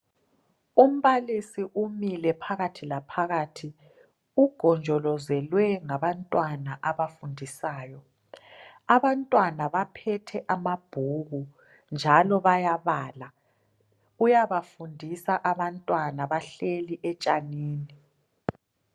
Umbakathi umile phakathi laphakathi ugonjolozelwe ngabantwana abafundisayo. Abantwana baphethe amabhuku njalo bayabala, uyabafundisa abantwana bahleli etshanini.